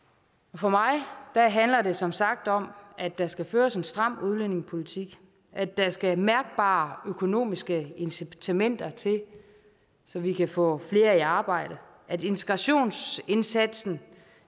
for mig handler det som sagt om at der skal føres en stram udlændingepolitik at der skal mærkbare økonomiske incitamenter til så vi kan få flere i arbejde at integrationsindsatsen